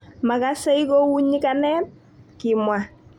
Makasei kou nyikanet,"kimwa.